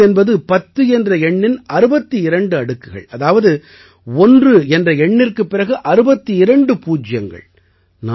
ஒரு மஹோக் என்பது பத்து என்ற எண்ணின் 62 அடுக்குகள் அதாவது ஒன்று என்ற எண்ணிற்குப் பிறகு 62 பூஜ்யங்கள்